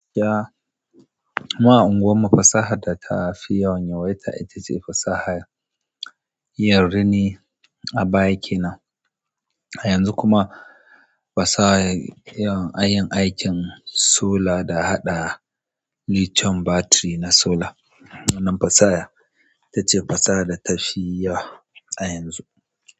Gaskiya mu a unguwarmu fasahar data fi yawan yawaita itace fasahar yin rini a baya kenan. A yanzu kuma fasahar yin aikin sola da haɗa lithium battery na sola. Wannan fasaha ita ce fasaha da ta fi yawa a yanzu.